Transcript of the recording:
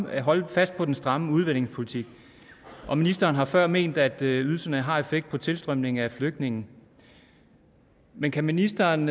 vil holde fast på den stramme udlændingepolitik og ministeren har før ment at ydelserne har en effekt på tilstrømningen af flygtninge men kan ministeren